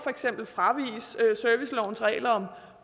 man fraviger servicelovens regler om